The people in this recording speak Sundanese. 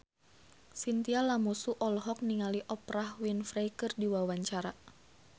Chintya Lamusu olohok ningali Oprah Winfrey keur diwawancara